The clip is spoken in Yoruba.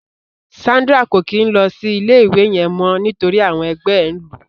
Sandra ko kin lọ sí ilé ìwé yẹn mọ nítorí àwọn ẹgbẹ ẹ n lu.